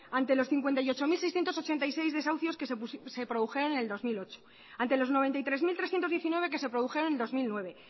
ante los cincuenta y ocho mil seiscientos ochenta y seis desahucios que se produjeron en el dos mil ocho ante los noventa y tres mil trescientos diecinueve que se produjeron en el dos mil nueve